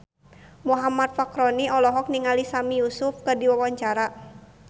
Muhammad Fachroni olohok ningali Sami Yusuf keur diwawancara